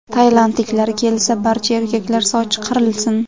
Tailandliklar kelsa, barcha erkaklar sochi qirilsin.